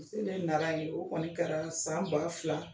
Muso bɛ Nara yen o kɔni kɛra san ba fila